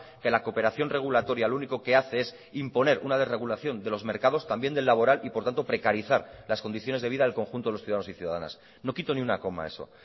que la cooperación regulatoria lo único que hace es imponer una desregulación de los mercados también del laboral y por tanto precarizar las condiciones de vida del conjunto de los ciudadanos y ciudadanas no quito ni una coma a eso